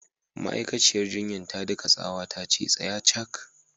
Ma'aikaciyar jinyar ta daka tsawa tace "Tsaya cak!"